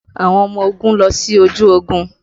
Àwọn ọmọ ogun lọ sí ojú ogun